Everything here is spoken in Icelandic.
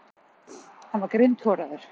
Hann var grindhoraður.